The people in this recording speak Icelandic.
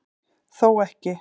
Þó ekki